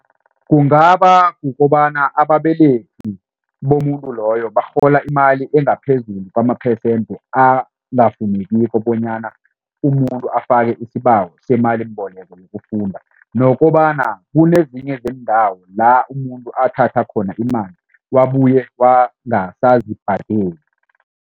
Kungaba kukobana ababelethi bomuntu loyo barhola imali engaphezulu kwamaphesende angafunekiko bonyana umuntu afake isibawo semalimboleko yokufunda nokobana kunezinye zeendawo la umuntu athatha khona imali wabuye wangasazibhadeli.